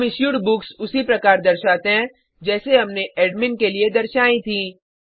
हम issued books उसी प्रकार दर्शाते हैं जैसे हमने एडमिन के लिए दर्शायी थीं